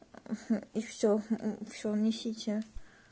и всё не сейчас